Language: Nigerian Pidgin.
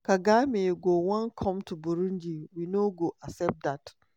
[kagame] go wan come to burundi – we no go accept dat.